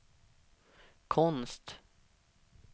konst